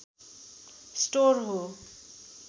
store हो